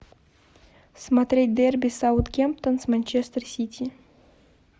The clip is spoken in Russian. смотреть дерби саутгемптон с манчестер сити